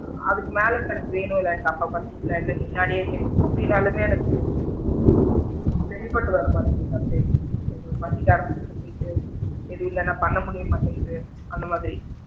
அதுக்கு மேல time வேணும் எனக்கு அப்ப பசிக்கல இல்ல எனக்கு முன்னாடியே எப்படி நாலுமே எனக்கு சரிப்பட்டு வர மாட்டேன்குது sometimes பசிக்க ஆரம்பிச்சதுக்கு அப்பறம் போயிட்டு தெரியலைனா பண்ண முடிய மாட்டேன்குது அந்த மாதிரி,